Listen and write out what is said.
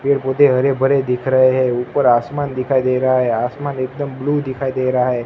पेड़ पौधे हरे भरे दिख रहे हैं ऊपर आसमान दिखाई दे रहा है आसमान एकदम ब्लू दिखाई दे रहा है।